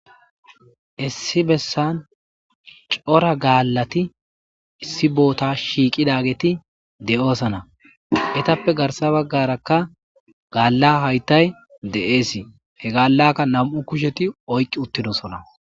Issi bessan cora gaallati issi boota shiiqidageeti de'oosana etappe garsa baggarakka gaalla haytay de'eesii he gaallakka nam'u kusheti oyqqi uttidosona.